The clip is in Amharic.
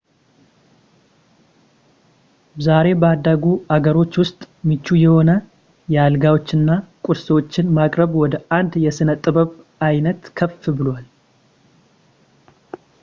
ዛሬ ባደጉ አገሮች ውስጥ ምቹ የሆነ የአልጋዎችን እና ቁርሶችን ማቅረብ ወደ አንድ የሥነ ጥበብ ዓይነት ከፍ ብሏል